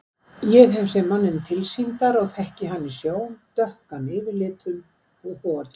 Ég hef séð manninn tilsýndar og þekki hann í sjón, dökkan yfirlitum og hokinn.